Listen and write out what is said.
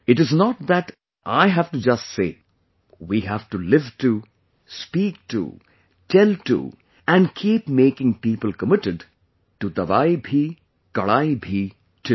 It is not that I have to just say; we have to live too, speak too, tell too and keep making people committed to 'dawayibhikadayeebhi' too